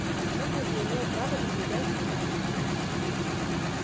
хагрид не имел права прибегать к магии